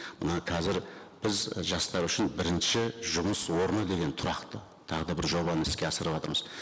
мына қазір біз жастар үшін бірінші жұмыс орны деген тұрақты тағы да бір жобаны іске асырыватырмыз